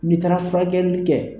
N'i taara furakɛli kɛ.